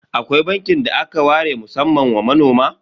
Akwai bankin da aka ware musamman wa manoma?